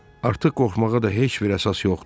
Artıq qorxmağa da heç bir əsas yoxdur.